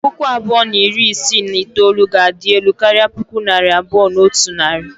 Puku abụọ na iri isii na itoolu ga-adị elu karịa puku naira abụọ na otu narị.